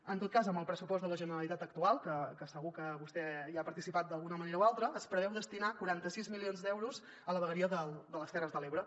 en tot cas amb el pressupost de la generalitat actual que segur que vostè hi ha participat d’alguna manera o altra es preveu destinar quaranta sis milions d’euros a la vegueria de les terres de l’ebre